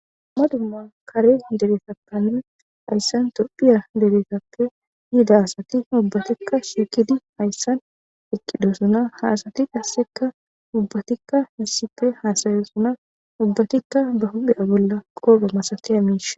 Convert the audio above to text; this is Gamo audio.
Dummma dumma kare deretappanee hayssan topphiya dereetappe yiida asati ubbatikka shiukidi hayssan eqqidosuna haasati qassekka ubbatikka hissippe haasayosuna ubbatikka ba hudhiya bolla koobe masakaya miishe